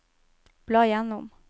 bla gjennom